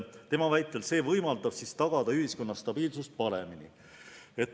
Tema väitel võimaldab see tagada ühiskonna stabiilsust paremini.